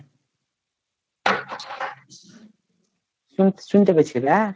শুন শুনতে পাইছিলা